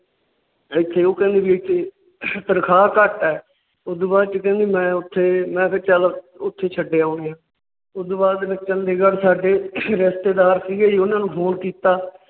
ਇਥੇ ਉਹ ਕਹਿੰਦੀ ਵੀ ਇੱਥੇ ਤਨਖਾਹ ਘੱਟ ਹੈ। ਉਸ ਤੋਂ ਬਾਅਦ ਚ ਕਹਿੰਦੀ ਮੈ ਉੱਥੇ ਮੈ ਕਿਹਾ ਚੱਲ ਉੱਥੇ ਛੱਡ ਆਊਂਗਾ। ਉਸ ਤੋਂ ਬਾਅਦ ਚੰਡੀਗੜ੍ਹ ਸਾਡੇ ਰਿਸ਼ਤੇਦਾਰ ਸੀ ਗੇ ਜੀ ਉਹਨਾਂ ਨੂੰ Phone ਕੀਤਾ।